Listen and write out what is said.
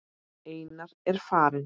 Einar er farinn.